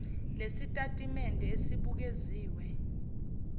lesi sitatimende esibukeziwe